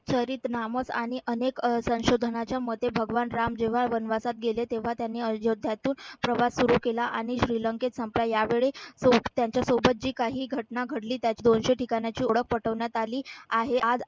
चरित नामक आणि अनेक अह संशोधनाच्या मते भगवान राम जेव्हा वनवासात गेले. तेव्हा त्यांनी अयोध्यातून प्रवास सुरू केला. आणि श्रीलंकेत संपला यावेळी त्यांच्यासोबत जी काही घटना घडली. दोनशे ठिकाणांची ओळख पटवण्यात आली आहे. आज